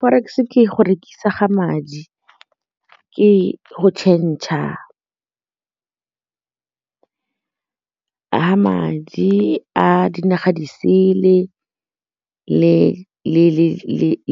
Korex ke go rekisa ga madi, ke go change-a madi a dinaga disele